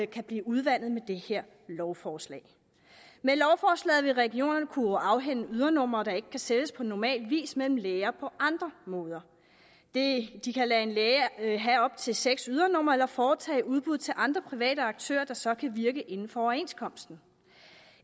kan blive udvandet med det her lovforslag med lovforslaget vil regionerne kunne afhænde ydernumre der ikke kan sælges på normal vis mellem læger på andre måder de kan lade en læge have op til seks ydernumre eller foretage udbud til andre private aktører der så kan virke inden for overenskomsten